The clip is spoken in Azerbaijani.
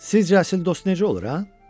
"Sizcə əsl dost necə olur, hə?"